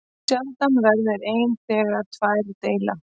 Sjaldan veldur einn þegar tveir deila.